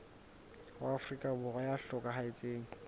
wa afrika borwa ya hlokahetseng